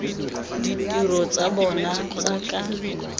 ditiro tsa bona tsa ka